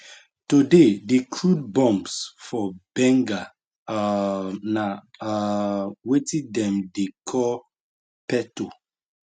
today di crude bombs for bengal um na um wetin dem dey call peto